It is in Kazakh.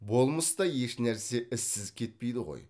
болмыста ешнәрсе ізсіз кетпейді ғой